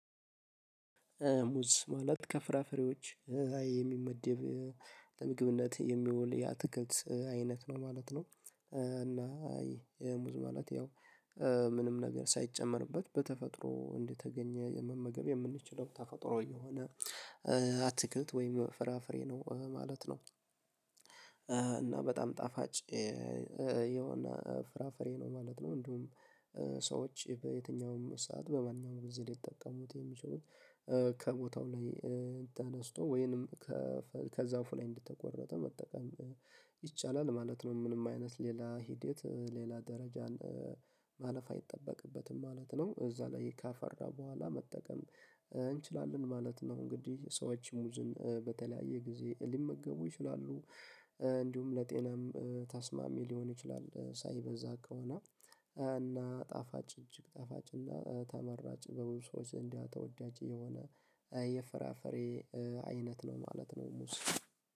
ሙዝ ማለት ከፍራፍሬዎች የሚመደብ ለምግብነት የሚውል የአትክልት አይነት ነው ማለት ነው። እና ይሄ ሙዝ ማለት ያው ምንም ነገር ሳይጨመርበት በተፈጥሮ እንደተገኘ መመገብ የምንችለው ተፈጥሮ የሆነ አትክልት ወይም ፍራፍሬ ነው ማለት ነው። እና በጣም ጣፋጭ የሆነ ፍራፍሬ ነው ማለት ነው። እንዲሁም ሰዎች በየትኛውም ሰዓት በማንኛውም ብዙ ሊጠቀሙት የሚችሉት ከቦታው ላይ ተነስቶ ወይንም ከዛፉ ላይ እንድትቆረጠ መጠቀም ይቻላል ማለት ነው። ምንም አይነት ሌላ ሂደት ሌላ ደረጃን ማለፍ አይጠበቅበትም ማለት ነው። እዛ ላይ ካፈራ በኋላ መጠቀም እንችላለን ማለት ነው። እንግዲህ ሰዎች ሙዝን በተለያየ ጊዜ ሊመገቡ ይችላሉ እንዲሁም ለጤናም ታስማሚ ሊሆን ይችላል። ሳይበዛ ከሆነ እና ጣፋጭ እጅግ ጣፋጭ እና ተመራጭ በብዙ ሰዎች እንዲያ ተወዳጅ የሆነ የፍራፍሬ አይነት ነው ማለት ነው። ሙዝ